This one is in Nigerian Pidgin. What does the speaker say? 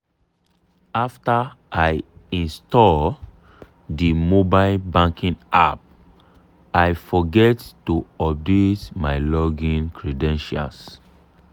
after i install the mobile banking app i forget to update my login credentials.